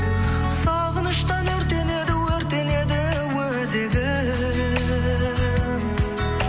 сағыныштан өртенеді өртенеді өзегім